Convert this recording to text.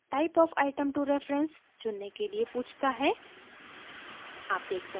फिर हमें type of item to reference चुनने के लिए पूछता है